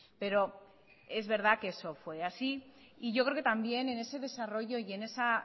pero es verdad que eso fue así y yo creo que también en ese desarrollo y en esa